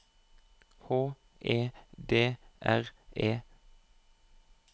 H E D R E